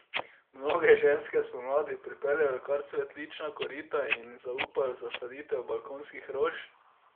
Mnoge ženske spomladi pripeljejo kar cvetlična korita in jim zaupajo zasaditev balkonskih rož.